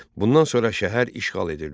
Bundan sonra şəhər işğal edildi.